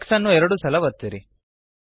X ಅನ್ನು ಎರಡು ಸಲ ಒತ್ತಿರಿ